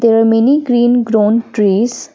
there are many green grown trees.